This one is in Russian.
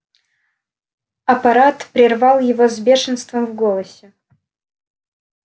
апорат прервал его с бешенством в голосе